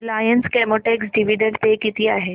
Reliance Chemotex dividend pay किती आहे